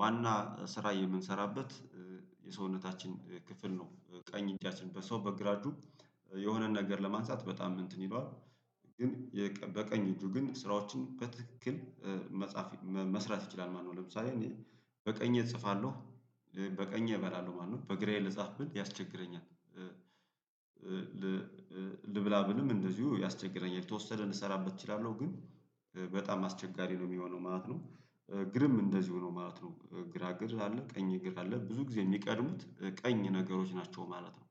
ዋና ስራ የምንሰራበት የሰውነታችን ክፍል ነው፤ ቀኝ እጃችን በሰው በግራ እጁ የሆነን ነገር ለማንሳት በጣም እንትን ይለዋል ግን በቀኝ እጁ ግን ስራዎችን በትክክል መጻፍ መስራት ይችላል ማለት ነው ለምሳሌ እኔ በቀኜ እጽፋለሁ በቀኜ እበላለሁ ማለት ነው በእግራየ ልጻፍ ብል ያስቸግረኛል ልብላ ብልም እንደዚሁ ያስቸግረኛል የተወሰደ እንሰራበት እችላለሁ ግን በጣም አስቸጋሪ ነው የሚሆነው ማለት ነው እግርም እንደዚሁ ነው ማለት ነው ግራ እግር አለ ቀኝ እግር አለ ብዙ ጊዜ የሚቀድሙት ቀኝ ነገሮች ናቸው ማለት ነው።